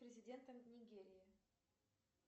президентом нигерии